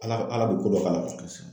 ALA ALA bi ko dɔ k'a la.